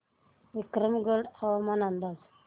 विक्रमगड हवामान अंदाज